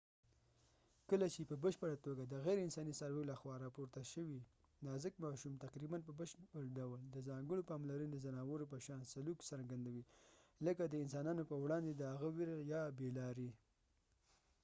کله چې په بشپړه توګه د غیر انساني څارویو لخوا راپورته شوي، نازک ماشوم تقريباً په بشپړ ډول د ځانګړو پاملرنې ځناورو په شان سلوک په فزیکي حدود کې څرګندوي، لکه د انسانانو په وړاندې د هغه ویره یا بې لاري